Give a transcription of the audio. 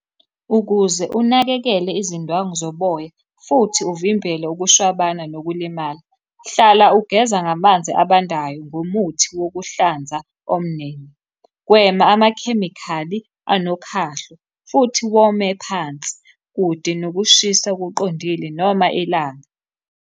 Ukuze unakekele izindwangu zoboya, futhi uvimbele ukushwabana nokulimala, hlala ugeza ngamanzi abandayo ngomuthi wokuhlanza omnene. Gwema amakhemikhali anokhahlo, futhi wome phansi, kude nokushisa okuqondile noma ilanga.